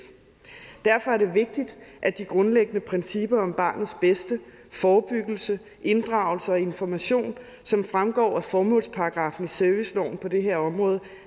derfor er det vigtigt at de grundlæggende principper om barnets bedste forebyggelse inddragelse og information som fremgår af formålsparagraffen i serviceloven på det her område